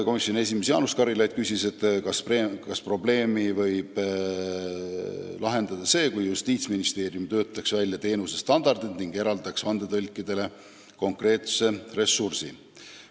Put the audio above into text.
Komisjoni esimees Jaanus Karilaid küsis, kas probleemi võiks lahendada see, kui Justiitsministeerium töötaks välja teenusestandardid ning eraldaks vandetõlkidele konkreetse ressursi.